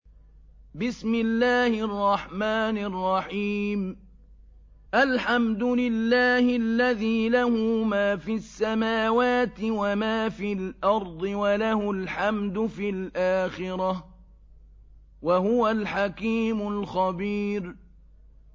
الْحَمْدُ لِلَّهِ الَّذِي لَهُ مَا فِي السَّمَاوَاتِ وَمَا فِي الْأَرْضِ وَلَهُ الْحَمْدُ فِي الْآخِرَةِ ۚ وَهُوَ الْحَكِيمُ الْخَبِيرُ